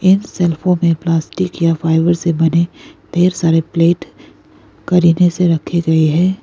इन शेल्फों में प्लास्टिक या फाइबर से बने ढेर सारे प्लेट करीने से रखे गए हैं।